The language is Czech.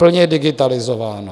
Plně digitalizováno!